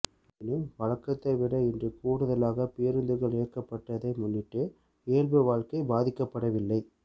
எனினும் வழக்கத்தை விட இன்று கூடுதலாக பேருந்துகள் இயக்கப்பட்டதை முன்னிட்டு இயல்பு வாழ்க்கை பாதிக்கப்படவில்லை